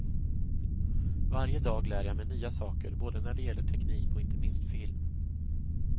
Varje dag lär jag mig nya saker både när det gäller teknik och inte minst film.